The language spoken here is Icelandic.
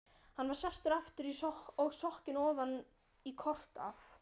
Hann var sestur aftur og sokkinn ofan í kort af